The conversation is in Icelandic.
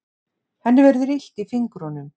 Henni verður illt í fingrunum.